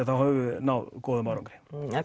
þá höfum við náð góðum árangri